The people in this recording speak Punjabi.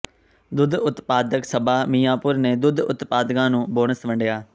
ਦੁੱਧ ਉਤਪਾਦਕ ਸਭਾ ਮੀਆਂਪੁਰ ਨੇ ਦੁੱਧ ਉਤਪਾਦਕਾਂ ਨੂੰ ਬੋਨਸ ਵੰਡਿਆ